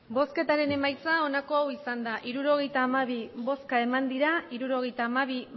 botoak hirurogeita hamabi bai hirurogeita hamabi